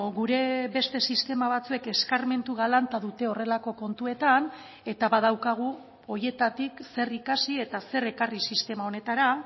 gure beste sistema batzuek eskarmentu galanta dute horrelako kontuetan eta badaukagu horietatik zer ikasi eta zer ekarri sistema honetara